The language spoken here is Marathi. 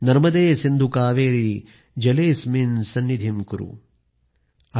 नर्मदे सिन्धु कावेरि जलेSस्मिन् सन्निधिं कुरु आयआय